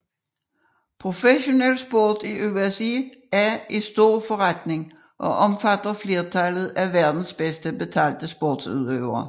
Professionel sport i USA er stor forretning og omfatter flertallet af verdens bedst betalte sportsudøvere